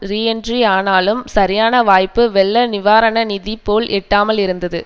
reentry ஆனாலும் சரியான வாய்ப்பு வெள்ளநிவாரண நிதி போல் எட்டாமலே இருந்தது